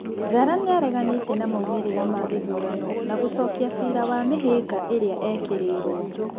Njara nĩareganĩte na maumĩrira ma gĩthurano na gũcokĩa cira wa mĩhĩnga ĩrĩa ekĩrĩirwo.